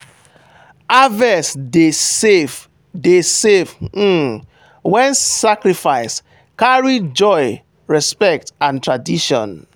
harvest dey safe dey safe um when sacrifice carry joy respect and tradition.